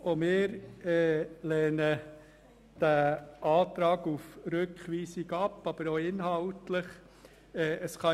Auch wir lehnen diesen Antrag auf Rückweisung ab, ebenso den inhaltlichen Aspekt.